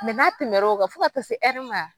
Mɛ n'a tɛmɛr'o kan fo ka kasi se ɛri ma